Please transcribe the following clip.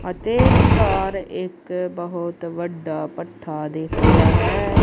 ਅਤੇ ਵਿੱਚਕਾਰ ਇੱਕ ਬਹੁਤ ਵੱਡਾ ਪੱਠਾ ਦਿੱਖ ਰਿਹਾ ਹੈ।